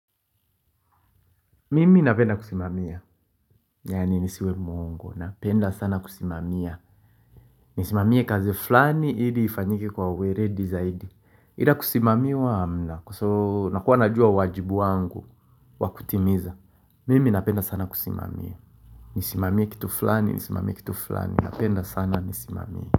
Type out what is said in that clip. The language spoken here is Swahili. Mimi napenda kusimamia, yaani nisiwe mwongo, napenda sana kusimamia Nisimamia kazi fulani ili ifanyike kwa uweledi zaidi Ila kusimamiwa na, kwa soo nakuwa najua wajibu wangu wakutimiza Mimi napenda sana kusimamia Nisimamia kitu flani, nisimamia kitu flani, napenda sana nisimamia.